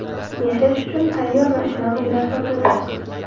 Yashash uchun tayyor va shinam uylar sotuvda!.